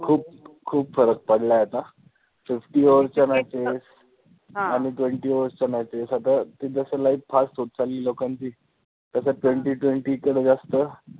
खूप खूप फरक पडलाय आता. Fifty overs च्या matches आणि twenty overs च्या matches आता जसं life fast होत चालली लोकांची, तसं twenty twenty कडे जास्त